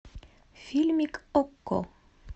фильмик окко